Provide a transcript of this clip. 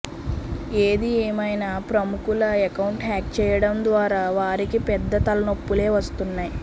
ఏది ఏమైనా ప్రముఖుల అకౌంట్ హ్యాక్ చేయడం ద్వారా వారికి పెద్ద తలనొప్పులే వస్తున్నాయి